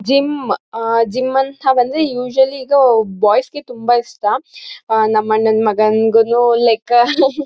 gym ಆಹ್ಹ್ gym ಅಂತ ಬಂದ್ರೆ ಯುಸವಳ್ಳಿ ಬಾಯ್ಸ್ಗೆ ತುಂಬಾ ಇಷ್ಟ ಆಹ್ಹ್ ನಮ್ ಅಣ್ಣನ್ ಮಗಂಗೂನು ಲೈಕ --